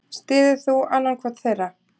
Styður þú annan hvorn þeirra?